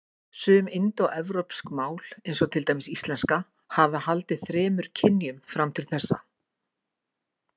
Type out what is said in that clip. Sum indóevrópsk mál, eins og til dæmis íslenska, hafa haldið þremur kynjum fram til þessa.